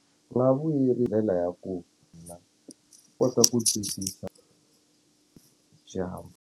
Swi nga hi ndela ya ku kota ku twisisa .